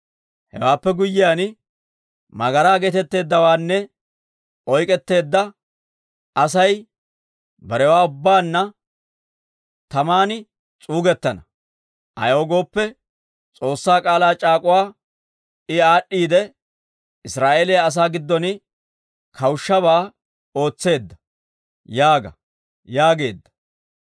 Hewaappe guyyiyaan tsiine geetetteeddawana oyk'k'etteedda asay, barewaa ubbaanna taman s'uugettana. Ayaw gooppe, S'oossaa k'aalaa c'aak'uwaa I aad'd'iidde, Israa'eeliyaa asaa giddon kawushshabaa ootseedda› yaaga» yaageedda.